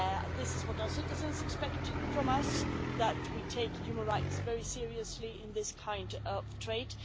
This is what our citizens expect from us, namely that we take human rights very seriously in this kind of trade.